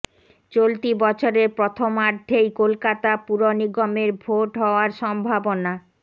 চলতি বছরের প্রথমার্ধেই কলকাতা পুর নিগমের ভোট হওয়ার সম্ভাবনা